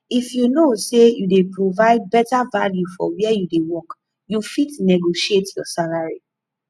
if you know sey you dey provide better value for where you dey work you fit negotiate your salary